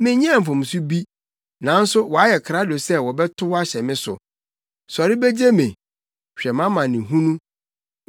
Menyɛɛ mfomso bi, nanso wɔayɛ krado sɛ wɔbɛtow ahyɛ me so. Sɔre begye me; hwɛ mʼamanehunu!